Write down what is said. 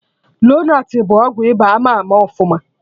Lonart bụ ọgwụ ịba ama ama ọfụma